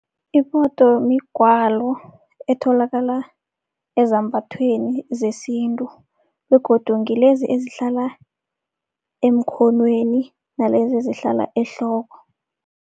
Iphoto migwalo etholakala ezambathweni zesintu begodu ngilezi ezihlala emkhonweni nalezi ezihlala ehloko.